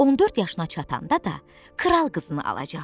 14 yaşına çatanda da kral qızını alacaq.